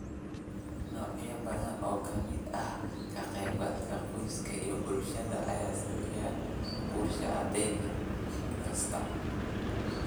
Noocyo badan oo ka mid ah ka qaybgalka qoyska iyo bulshada ayaa saameeyay guusha ardayga da' kasta.